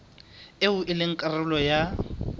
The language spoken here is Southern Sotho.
eo e leng karolo ya